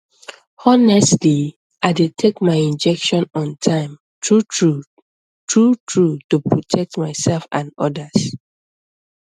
honestly i dey take my injection on time truetrue truetrue to protect myself and others